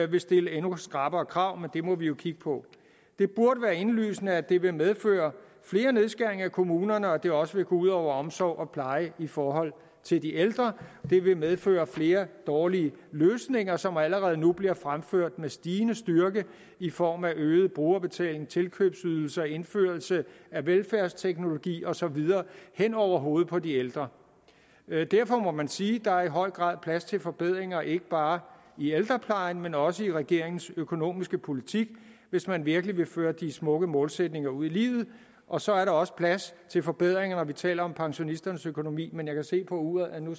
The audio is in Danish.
vil stille endnu skrappere krav men det må vi jo kigge på det burde være indlysende at det vil medføre flere nedskæringer i kommunerne og at det også vil gå ud over omsorg og pleje i forhold til de ældre det vil medføre flere dårlige løsninger som allerede nu bliver fremført med stigende styrke i form af øget brugerbetaling tilkøbsydelser indførelse af velfærdsteknologi og så videre hen over hovedet på de ældre derfor må man sige at der i høj grad er plads til forbedringer ikke bare i ældreplejen men også i regeringens økonomiske politik hvis man virkelig vil føre de smukke målsætninger ud i livet og så er der også plads til forbedringer når vi taler om pensionisternes økonomi men jeg kan se på uret at nu